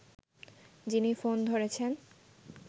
যিনি ফোন ধরেছেন